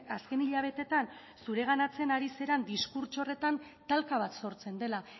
azken hilabeteetan zureganatzen ari zaren diskurtso horretan talka bat sortzen dela